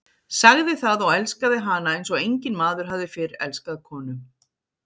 Sagði það og elskaði hana eins og enginn maður hafði fyrr elskað konu.